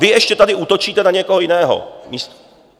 Vy ještě tady útočíte na někoho jiného.